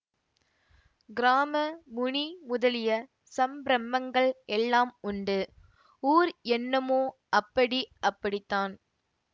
கிராம முனி முதலிய சம்பிரமங்கள் எல்லாம் உண்டு ஊர் என்னமோ அப்படி அப்படித்தான்